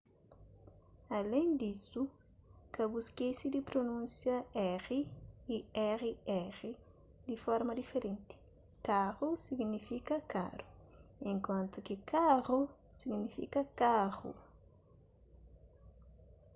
alén disu ka bu skese di prunúnsia r y rr di forma diferenti caro signifika karu enkuantu ki carro signifika karu